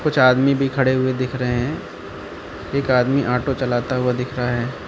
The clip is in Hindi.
कुछ आदमी भी खड़े हुए दिख रहे हैं एक आदमी ऑटो चलाता हुआ दिख रहा है।